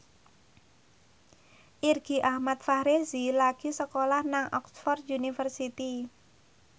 Irgi Ahmad Fahrezi lagi sekolah nang Oxford university